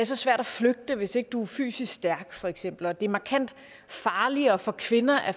så svært at flygte hvis ikke du er fysisk stærk for eksempel og det er markant farligere for kvinder at